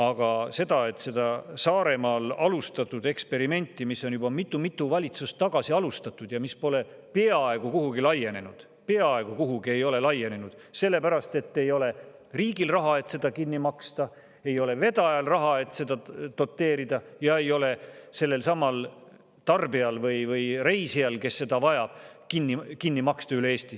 Aga see Saaremaal alustatud eksperiment, mis on juba mitu-mitu valitsust tagasi alustatud, pole peaaegu kuhugi laienenud – peaaegu kuhugi ei ole laienenud –, sellepärast et ei ole riigil raha, et seda kinni maksta, ei ole vedajal raha, et seda doteerida, ja ei ole sellelsamal tarbijal või reisijal, kes seda vajab, raha selleks, et seda kinni maksta üle Eesti.